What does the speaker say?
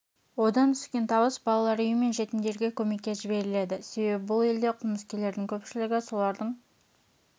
одан түскен табыс балалар үйі мен жетімдерге көмекке жіберіледі себебі бұл елде қылмыскерлердің көпшілігі солардың